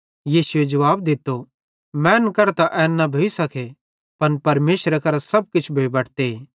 यीशुए जुवाब दित्तो मैनन् करां त एन न भोइ सके पन परमेशरे करां सब किछ भोइ बटते